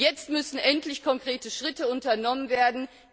Jetzt müssen endlich konkrete Schritte unternommen werden.